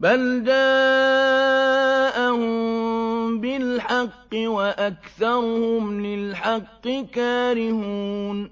بَلْ جَاءَهُم بِالْحَقِّ وَأَكْثَرُهُمْ لِلْحَقِّ كَارِهُونَ